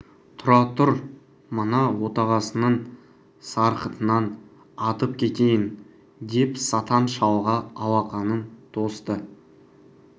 тұра тұр мына отағасының сарқытынан атып кетейін деп сатан шалға алақанын тосты